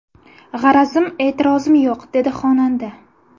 G‘arazim, e’tirozim yo‘q”, dedi xonanda.